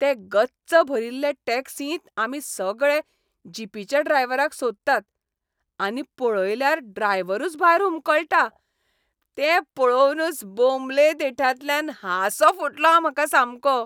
ते गच्च भरिल्ले टॅक्सींत आमी सगळे जीपीच्या ड्रायव्हराक सोदतात आनी पळयल्यार ड्रायव्हरूच भायर हुमकळटा. तें पळोवनूच बोमले देंठांतल्यान हांसो फुटलो म्हाका सामको.